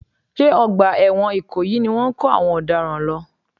Ṣé ọgbà ẹ̀wọ̀n ìkòyí ni wọ́n ń kó àwọn ọ̀daràn lọ?